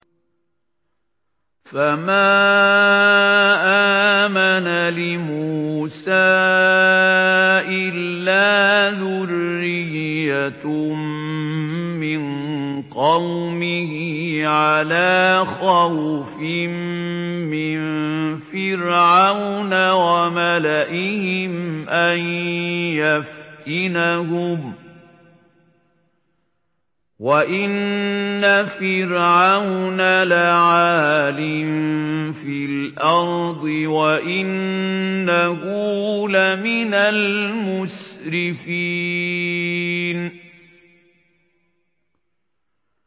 فَمَا آمَنَ لِمُوسَىٰ إِلَّا ذُرِّيَّةٌ مِّن قَوْمِهِ عَلَىٰ خَوْفٍ مِّن فِرْعَوْنَ وَمَلَئِهِمْ أَن يَفْتِنَهُمْ ۚ وَإِنَّ فِرْعَوْنَ لَعَالٍ فِي الْأَرْضِ وَإِنَّهُ لَمِنَ الْمُسْرِفِينَ